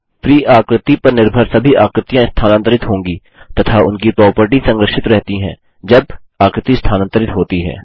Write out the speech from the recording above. free आकृति पर निर्भर सभी आकृतियाँ स्थानांतरित होंगी तथा उनकी प्रोपर्टीज़ संरक्षित रहती है जब आकृति स्थानांतरित होती है